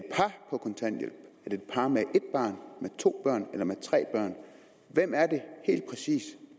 et par med ét barn med to børn eller med tre børn hvem er det helt præcis